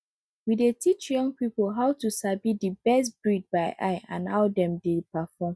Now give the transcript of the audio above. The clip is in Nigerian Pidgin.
we dey teach young people how to sabi the best breed by eye and how dem dey perform